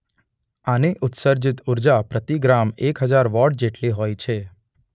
આની ઉત્સર્જીત ઉર્જા પ્રતિ ગ્રામ એક હજાર વૉટ જેટલી હોય છે.